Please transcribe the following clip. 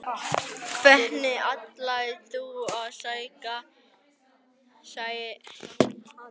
Helga Arnardóttir: Hvernig ætlið þið að skera ykkur úr?